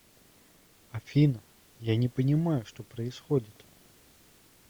афина я не понимаю что происходит